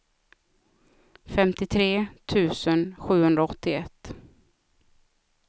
femtiotre tusen sjuhundraåttioett